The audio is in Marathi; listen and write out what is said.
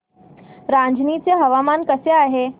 रांझणी चे हवामान कसे आहे